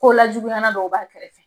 Ko lajuguyanan dɔw b'a kɛrɛfɛ.